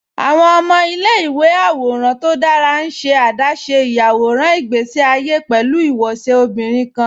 Awọn ọmọ ilẹ̀-ìwé àwòràn tó dára n ṣe adáṣé iyàwọ̀ràn ìgbèsí àyé pẹ̀lú awóṣẹ obìnrin kan